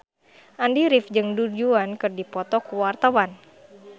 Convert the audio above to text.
Andy rif jeung Du Juan keur dipoto ku wartawan